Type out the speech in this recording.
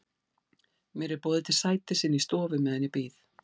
Mér er boðið til sætis inni í stofu meðan ég bíð.